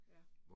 Ja